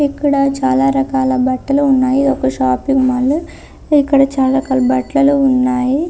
ఇక్కడ చాల రకాల బట్టలు ఉన్నాయి ఒక షాపింగ్ మాల్ ఇక్కడ చాల బట్టలు ఉన్నాయి .